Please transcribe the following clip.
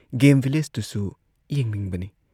Game ꯚꯤꯂꯦꯖꯇꯨꯁꯨ ꯌꯦꯡꯅꯤꯡꯕꯅꯤ꯫